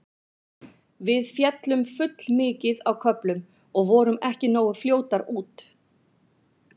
Við féllum full mikið á köflum og vorum ekki nógu fljótar út.